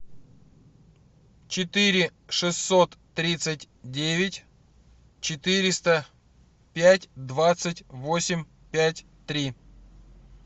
четыре шестьсот тридцать девять четыреста пять двадцать восемь пять три